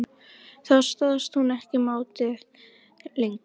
Þá stóðst hún ekki mátið lengur.